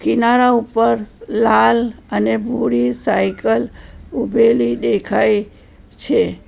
કિનારા ઉપર લાલ અને ભૂરી સાયકલ ઊભેલી દેખાય છે.